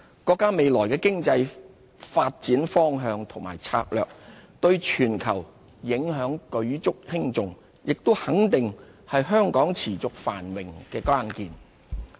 國家未來的經濟發展方向和策略，對全球影響舉足輕重，也肯定是香港持續繁榮的關鍵。